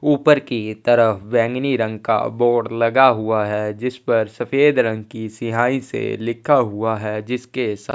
ऊपर की तरफ बैगनी रंग का बोर्ड लगा हुआ है जिस पर सफेद रंग के सिहाई से लिखा हुआ है जिसके सा--